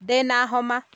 Ndina homa